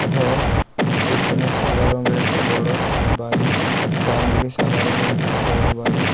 ঘর পেছনে সাদা রঙের একটা বড় বাড়ি । ডান দিকে সাদা রংয়ের একটা বড় বাড়ি।